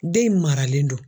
Den in maralen don